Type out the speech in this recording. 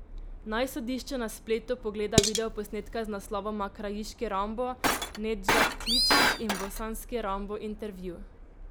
Naj sodišče na spletu pogleda videoposnetka z naslovoma Krajiški Rambo, Nedžad Kličić in Bosanski Rambo intervju.